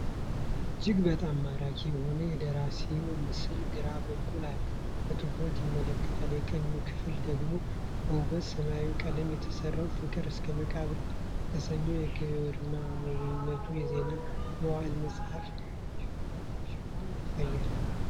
እጅግ በጣም ማራኪ የሆነው የደራሲው ምስል ግራ በኩል አለ፤ በትኩረት ይመለከታል። የቀኙ ክፍል ደግሞ በውብ ሰማያዊ ቀለም የተሠራውን "ፍቅር እስከ መቃብር" የተሰኘውን የግርማዊት የዜና መዋዕል መጽሐፍ ሽፋን ያሳያል።